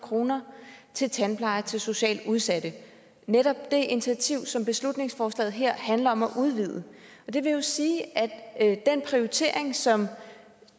kroner til tandpleje til socialt udsatte netop det initiativ som beslutningsforslaget her handler om at udvide og det vil jo sige at at den prioritering som